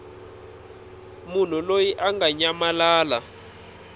munhu loyi a nga nyamalala